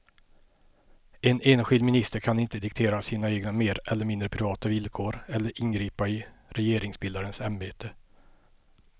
En enskild minister kan inte diktera sina egna mer eller mindre privata villkor eller ingripa i regeringsbildarens ämbete.